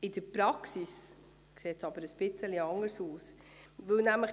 In der Praxis sieht dies etwas anders aus.